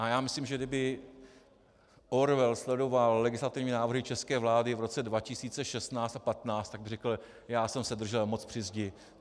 A já myslím, že kdyby Orwell sledoval legislativní návrhy české vlády v roce 2016 a 2015, tak by řekl: Já jsem se držel moc při zdi.